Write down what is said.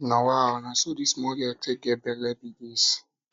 nawa oo na so dis small girl take get bele bele be dis